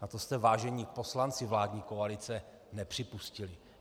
A to jste, vážení poslanci vládní koalice, nepřipustili.